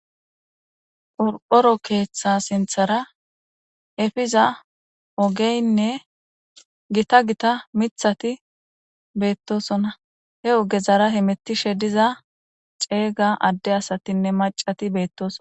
Urphoro keeththa sinthara efiza ogeynne gita gita mithati beettosona he oge zara hemetishe diza ceeyga adde asatinne macati beettoso.